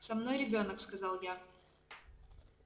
со мной ребёнок сказал я